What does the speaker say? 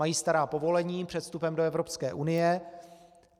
Mají stará povolení před vstupem do Evropské unie.